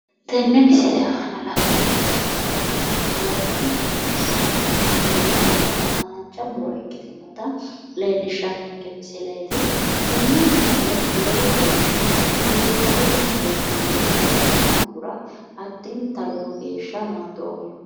tene misile aana la'neemmoti muro ikitanna lowonta baxissannotanna haanja muro ikkitinnota leellishshannonke misileeti, tenne misile biifadonna seesallite ikkitinohura addinta lowo geeshsha naadoomma.